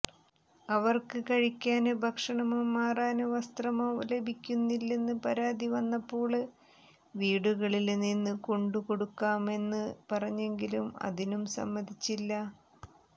അവര്ക്ക് കഴിക്കാന് ഭക്ഷണമോ മാറാന് വസ്ത്രമോ ലഭിക്കുന്നില്ലെന്ന് പരാതി വന്നപ്പോള് വീടുകളില് നിന്ന് കൊണ്ടു കൊടുക്കാമെന്ന് പറഞ്ഞെങ്കിലും അതിനും സമ്മതിച്ചില്ല